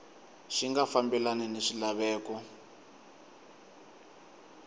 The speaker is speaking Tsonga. xi nga fambelani ni swilaveko